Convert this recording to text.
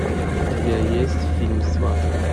у тебя есть фильм сваты